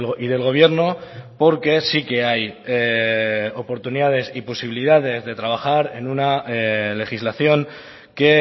y del gobierno porque sí que hay oportunidades y posibilidades de trabajar en una legislación que